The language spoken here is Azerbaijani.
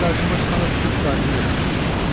Sadəcə qarşıma çıxanda tutub qarnıma ötürürəm.